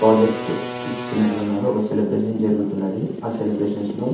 project ఇచ్చినట్టున్నారు.ఒక celebration జరుగుతున్నది.ఆ celebrations లో--